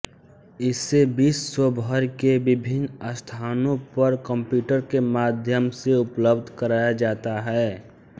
इसे विश्व भर के विभिन्न स्थानों पर कंप्यूटर के माध्यम से उपलब्ध कराया जाता है